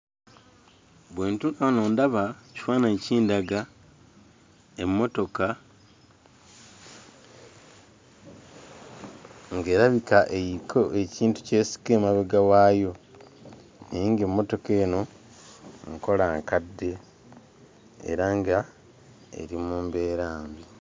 Bwe ntuula wano ndaba ekifaananyi kindaga emmotoka ng'erabika eriko ekintu ky'esika emabega waayo naye ng'emmotoka eno nkola nkadde era nga eri mu mbeera mbi.